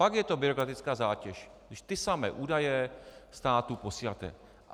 Pak je to byrokratická zátěž, když ty samé údaje státu posíláte.